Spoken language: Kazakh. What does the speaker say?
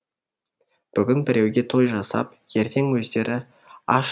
бүгін біреуге той жасап ертең өздері аш